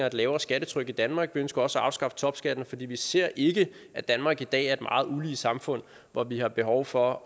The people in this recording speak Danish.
et lavere skattetryk i danmark vi ønsker også at afskaffe topskatten for vi ser ikke at danmark i dag er et meget ulige samfund hvor vi har behov for